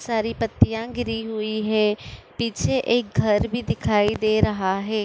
सारी पत्तियां गिरी हुयी है। पीछे एक घर भी दिखाई दे रहा है।